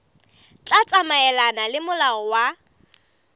tla tsamaelana le molao wa